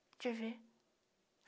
Deixa eu ver.